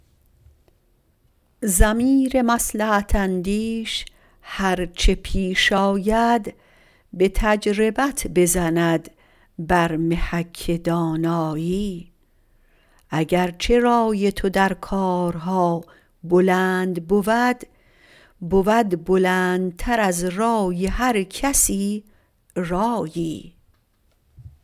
ضمیر مصلحت اندیش هر چه پیش آید به تجربت بزند بر محک دانایی اگر چه رای تو در کارها بلند بود بود بلندتر از رای هر کسی رایی